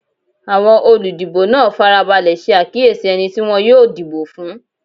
Awọn oludibo naa farabalẹ ṣe akiyesi ẹni ti wọn yoo dibo fun